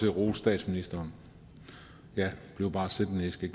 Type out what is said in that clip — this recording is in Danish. at rose statsministeren ja bliv bare siddende i skal